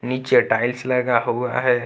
नीचे टाइल्स लगा हुआ है।